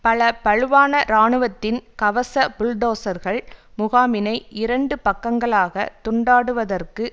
பல பழுவான இராணுவத்தின் கவச புல்டோசர்கள் முகாமினை இரண்டு பக்கங்களாக துண்டாடுவதற்கு